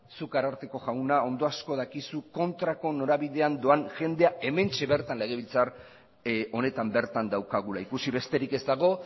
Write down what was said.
zuk ararteko jauna ondo asko dakizu kontrako norabidean doan jendea hementxe bertan legebiltzar honetan bertan daukagula ikusi besterik ez dago